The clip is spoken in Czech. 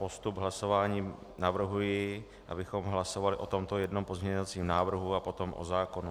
Postup hlasování: navrhuji, abychom hlasovali o tomto jednom pozměňovacím návrhu a potom o zákonu.